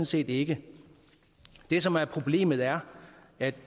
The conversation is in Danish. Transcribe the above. set ikke det som er problemet er at